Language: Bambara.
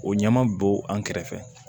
O ɲɛma bɔ an kɛrɛfɛ